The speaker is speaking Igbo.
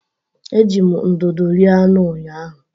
Eji m ndụdụ rie anụ ụnyahụ.